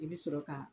I bɛ sɔrɔ ka